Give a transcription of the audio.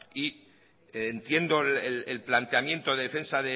y entiendo el planteamiento de defensa